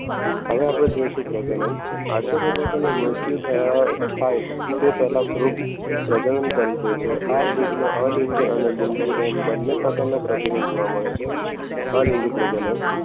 હવે આપણે જોઈશું પ્રજનન આશ્ચર્ય દાદાની મૃત્યુ થયા થાય તે પહેલાં ફૂગ પ્રજનન કરી દે છે આ ફૂગ આલિંગે આને લિંગી એમ બંને પ્રકારના પ્રજનન જોવા મળે છે અલિંગી પ્રજનન